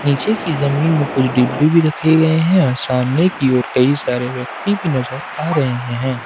नीचे की जमीन में कुछ डिब्बे भी रखे गए हैं और सामने की ओर बहुत कई सारे व्यक्ति भी नजर आ रहे हैं।